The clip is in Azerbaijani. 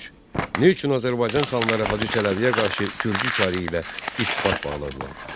Üç: Niyə üçün Azərbaycan xanları Hacı Çələbiyə qarşı gürcü çarı ilə ittifaq bağladılar?